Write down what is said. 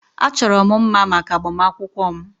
Achọrọ m mma maka agbamakwụkwọ m.